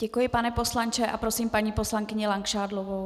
Děkuji, pane poslanče, a prosím paní poslankyni Langšádlovou.